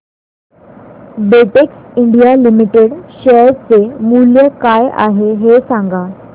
Betex India limited share चे मूल्य काय आहे हे सांगा